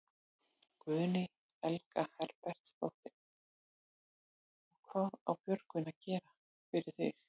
Guðný Helga Herbertsdóttir: Og hvað á Björgvin að gera, gera fyrir þig?